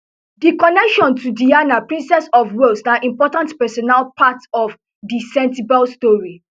di connection to diana princess of wales na important personal part of di sentebale story